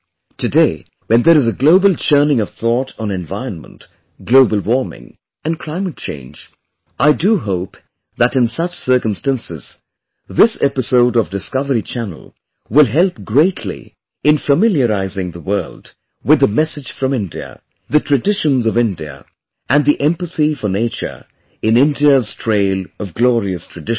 Today, when there is a global churning of thought on environment, Global Warming, and Climate Change, I do hope that in such circumstances, this episode of Discovery Channel will help greatly in familiarizing the world with the message from India, the traditions of India and the empathy for nature in India's trail of glorious traditions